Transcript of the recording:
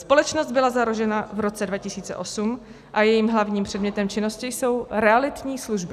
Společnost byla založena v roce 2008 a jejím hlavním předmětem činnosti jsou realitní služby.